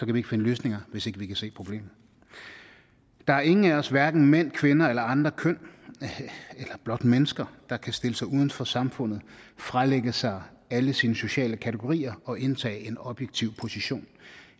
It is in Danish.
kan ikke finde løsninger hvis ikke vi kan se problemet der er ingen af os hverken mænd kvinder eller andre køn eller blot mennesker der kan stille sig uden for samfundet fralægge sig alle sine sociale kategorier og indtage en objektiv position